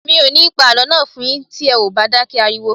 Mi ò ní pa àlọ́ náà fún n yín mọ́ tí ẹ ò bá dákẹ́ ariwo